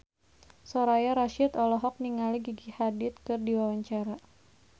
Soraya Rasyid olohok ningali Gigi Hadid keur diwawancara